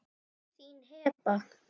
Þín Heba.